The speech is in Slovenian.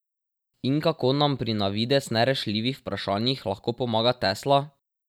In kako nam pri na videz nerešljivih vprašanjih lahko pomaga Tesla?